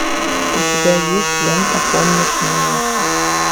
у тебя есть лента помнишь меня